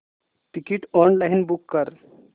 ticket online book कर